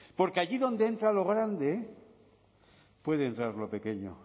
porque allí donde entra lo grande puede entrar lo pequeño